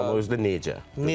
Amma özü də necə?